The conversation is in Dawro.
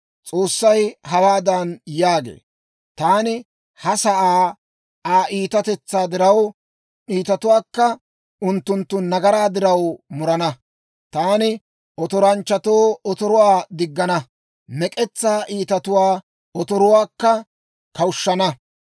S'oossay hawaadan yaagee, «Taani ha sa'aa Aa iitatetsaa diraw, iitatuwaakka unttunttu nagaraa diraw murana. Taani otoranchchatoo otoruwaa diggana; mek'etsaa iitatuwaa otoruwaakka kawushshana.